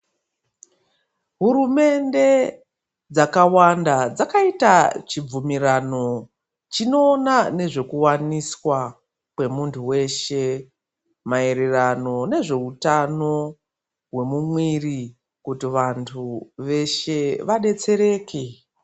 Hurumende dzakawanda dzakaita chibvumirano chinoona nezvekuwaniswa kwemuntu weshe, maererano nezveutano hwemumwiiri kuti vantu veshe vadetsereke.